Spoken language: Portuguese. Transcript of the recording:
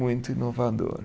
Muito inovador.